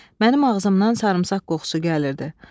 Mənim ağzımdan sarımsaq qoxusu gəlirdi.